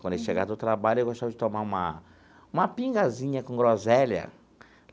Quando ele chegava do trabalho, ele gostava de tomar uma uma pingazinha com groselha.